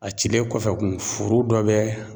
A cilen kɔfɛ kun , furu dɔ bɛ